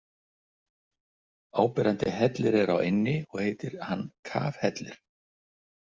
Áberandi hellir er á eynni og heitir hann Kafhellir.